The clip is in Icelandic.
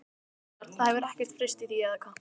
Gunnar: Það hefur ekkert breyst í því, eða hvað?